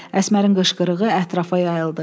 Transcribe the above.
Əsmərin qışqırığı ətrafa yayıldı.